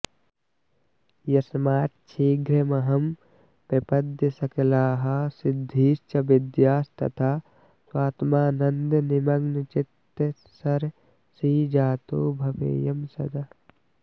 यस्माच्छीघ्रमहं प्रपद्य सकलाः सिद्धीश्च विद्यास्तथा स्वात्मानन्दनिमग्नचित्तसरसीजातो भवेयं सदा